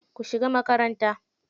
Ku shiga makaranta.